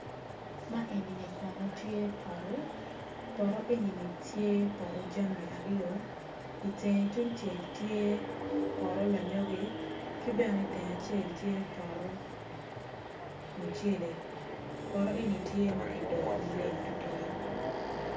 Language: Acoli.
Man enini kono tye poto poto jami aryo itenge tungcel tye poto lanyogi ki bene iitenge acel tye poto mucele poto eni tye ma kidoyo maleng tutwal